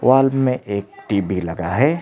Wall मे एक TB TV लगा है।